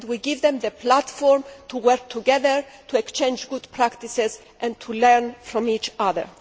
We give them the platform to work together to exchange good practices and to learn from each other.